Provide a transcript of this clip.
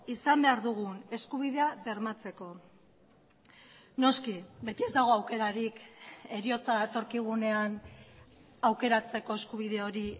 izan behar dugun eskubidea bermatzeko noski beti ez dago aukerarik heriotza datorkigunean aukeratzeko eskubide hori